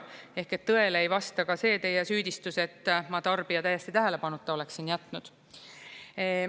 Ehk et tõele ei vasta ka see teie süüdistus, et ma tarbija täiesti tähelepanuta oleksin jätnud.